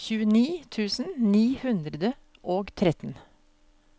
tjueni tusen ni hundre og tretten